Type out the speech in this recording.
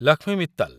Lakshmi Mittal